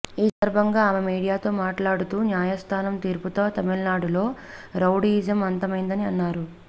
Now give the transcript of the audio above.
ఈ సందర్బంగా ఆమె మీడియాతో మాట్లాడుతూ న్యాయస్థానం తీర్పుతో తమిళనాడులో రౌడీయిజం అంతమైందని అన్నారు